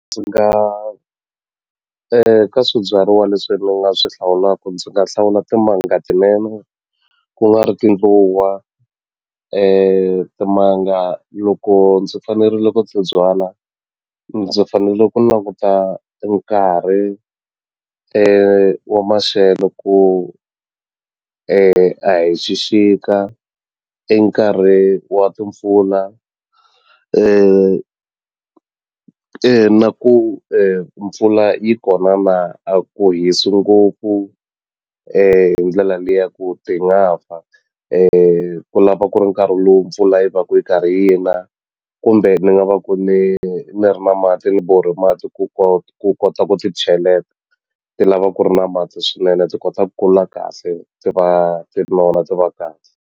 Ndzi nga ka swibyariwa leswi ni nga swi hlawulaka ndzi nga hlawula timanga tinene ku nga ri tindluwa timanga loko ndzi fanerile ku ti byala ndzi fanele ku languta e nkarhi wa maxelo ku a hi xixika i nkarhi wa timpfula na ku mpfula yi kona na a ku hisi ngopfu hi ndlela le ya ku ti nga fa ku lava ku ri nkarhi lowu mpfula yi va ku yi karhi yi na kumbe ni nga va ku ni ni ri na mati ni borhe mati ku ku kota ku ti cheleta ti lava ku ri na mati swinene ndzi kota ku kula kahle ti va ti ri na wona ti va kahle.